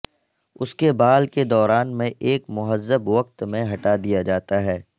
اس کے بال کے دوران میں ایک مہذب وقت میں ہٹا دیا جاتا ہے